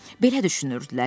Belə düşünürdülər.